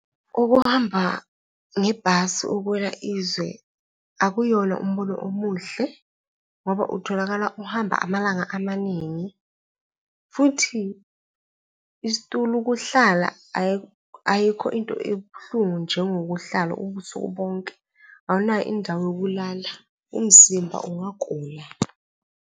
Ukuhamba ngebhasi ukuya izwe akuyona umbono omuhle ngoba utholakala uhamba amalanga amaningi futhi isitulo, ukuhlala, ayikho into ebuhlungu njengokuhlala ubusuku bonke, awunayo indawo yokulala, umzimba ungagula.